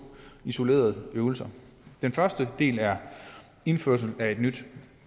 isolerede øvelser den første del er indførelsen af et nyt